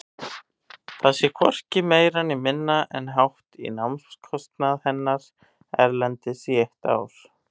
Það sé hvorki meira né minna en hátt í námskostnað hennar erlendis í eitt ár.